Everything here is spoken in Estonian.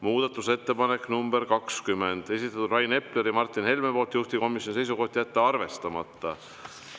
Muudatusettepanek nr 20, esitanud Rain Epler ja Martin Helme, juhtivkomisjoni seisukoht: jätta arvestamata.